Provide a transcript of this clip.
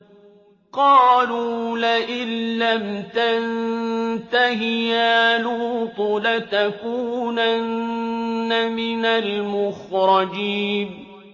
قَالُوا لَئِن لَّمْ تَنتَهِ يَا لُوطُ لَتَكُونَنَّ مِنَ الْمُخْرَجِينَ